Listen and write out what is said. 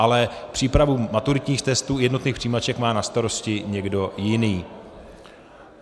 Ale přípravu maturitních testů jednotných přijímaček má na starosti někdo jiný.